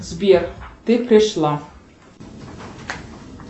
сбер ты пришла